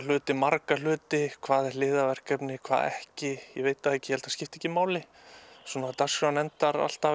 hluti marga hluti hvað er hliðarverkefni og hvað ekki ég veit það ekki ég held að það skipti ekki máli dagskráin endar alltaf